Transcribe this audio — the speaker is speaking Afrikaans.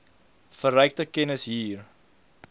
verrykte kennis hier